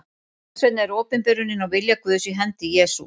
Þess vegna er opinberunin á vilja Guðs í hendi Jesú.